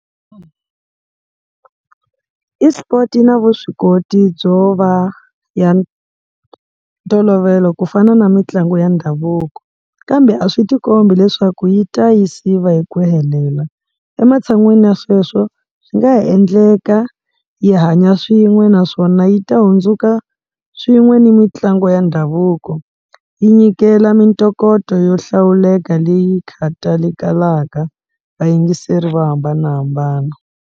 Esport yi na vuswikoti byo va ya ntolovelo ku fana na mitlangu ya ndhavuko kambe a swi tikombi leswaku yi ta yi siva hi ku helela, ematshan'wini ya sweswo swi nga endleka yi hanya swin'we naswona yi ta hundzuka swin'we ni mitlangu ya ndhavuko yi nyikela mitokoto yo hlawuleka leyi khatalekelaka vayingiseri vo hambanahambana.